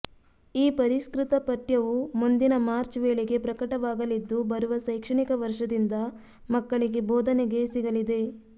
ಈ ಪರಿಷ್ಕೃತ ಪಠ್ಯವು ಮುಂದಿನ ಮಾರ್ಚ್ ವೇಳೆಗೆ ಪ್ರಕಟವಾಗಲಿದ್ದು ಬರುವ ಶೈಕ್ಷಣಿಕ ವರ್ಷದಿಂದ ಮಕ್ಕಳಿಗೆ ಬೋಧನೆಗೆ ಸಿಗಲಿದೆ